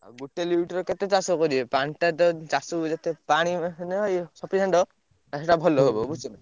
ଗୋଟେ lift ରେ କେତେ ଚାଷ କରିବେ ପାଣିଟା ତ ଚାଷକୁ ଯେତେ ପାଣି ଇଏ sufficient ଆଉ ସେଇଟା ଭଲ ହବ ବୁଝୁଛ ନା।